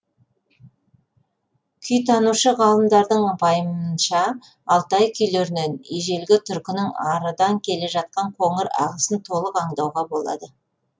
күйтанушы ғалымдардың пайымынша алтай күйлерінен ежелі түркінің арыдан келе жатқан қоңыр ағысын толық аңдауға болады